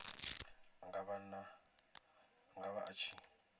a nga vha a tshi